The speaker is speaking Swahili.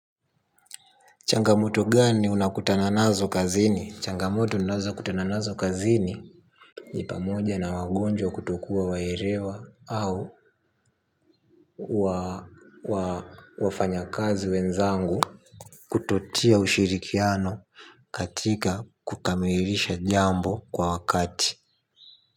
Changamoto gani unakutana nazo kazini? Changamoto ninazokutana nazo kazini. Ni pamoja na wagonjwa kutokuwa waelewa au wafanyakazi wenzangu kutotia ushirikiano katika kukamilisha jambo kwa wakati.